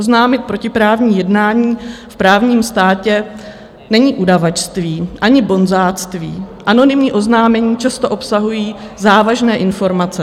Oznámit protiprávní jednání v právním státě není udavačství ani bonzáctví, anonymní oznámení často obsahují závažné informace.